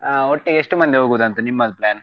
ಆ ಒಟ್ಟಿಗೆ ಎಷ್ಟು ಮಂದಿ ಹೋಗೋದಂತ ನಿಮ್ಮದು plan ?